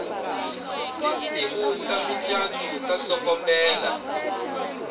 tinsimu ta mucato ta tsokombela